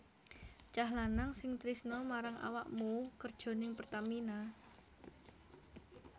Cah lanang sing tresno marang awakmu kerjo ning Pertamina?